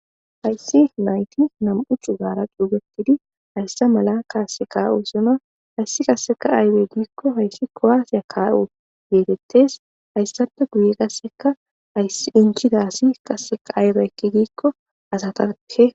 Ayssi nayti nam'uchu gaara cuugetidi hayssa mala kaasse kaa'o suna hayssi qasseka ayrey giikko hayssi koaasiya kaawo yeetettes hayssappe guye qasseka inchidasi qasseka ayre ekki diikko asatake.